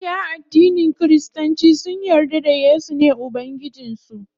Mabiya addinin kiristanci sun yarda da yesu ne ubangijin su.